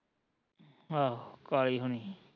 ਆਹੋ ਕਾਲੀ ਹੁਣੀ